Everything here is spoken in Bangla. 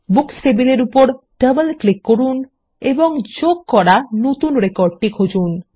বুকস টেবিলের উপর ডবল ক্লিক করুন এবং যোগ করা নতুন রেকর্ডটি খুঁজুন